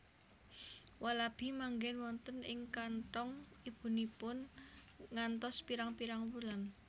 Walabi manggen wonten ing kanthong ibunipun ngantos pirang pirang wulan